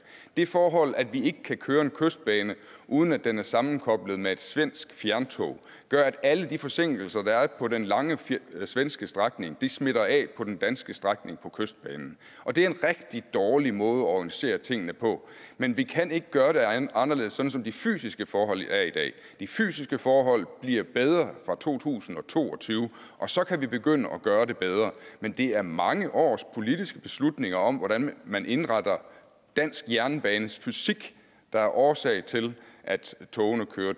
det forhold at vi ikke kan køre kystbanen uden at den er sammenkoblet med et svensk fjerntog gør at alle de forsinkelser der er på den lange svenske strækning smitter af på den danske strækning på kystbanen og det er en rigtig dårlig måde at organisere tingene på men vi kan ikke gøre anderledes sådan som de fysiske forhold er i dag de fysiske forhold bliver bedre fra to tusind og to og tyve og så kan vi begynde at gøre det bedre men det er mange års politiske beslutninger om hvordan man indretter dansk jernbane fysisk der er årsag til at togene kører